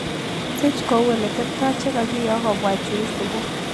Siich kou oleteptoi chegokiyok kobwa chuiisibuu